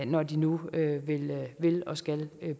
når de nu vil og skal